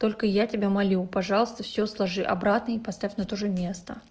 только я тебя молю пожалуйста всё сложи обратно и поставь на то же место